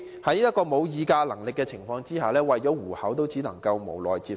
他們沒有議價能力，為了糊口，只能無奈地接受。